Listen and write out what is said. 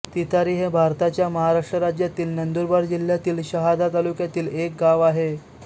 तितारी हे भारताच्या महाराष्ट्र राज्यातील नंदुरबार जिल्ह्यातील शहादा तालुक्यातील एक गाव आहे